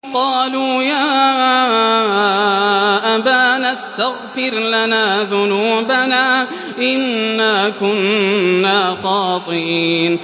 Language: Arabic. قَالُوا يَا أَبَانَا اسْتَغْفِرْ لَنَا ذُنُوبَنَا إِنَّا كُنَّا خَاطِئِينَ